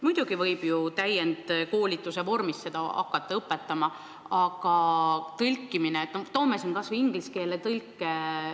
Muidugi võib seda hakata õpetama täienduskoolituse vormis, aga tõlkimine ei ole siiski niisama lihtne teenus.